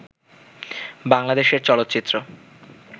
বাংলাদেশের চলচ্চিত্র